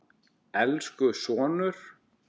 Elsku sonur.